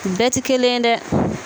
Bɛɛ tɛ kelen dɛ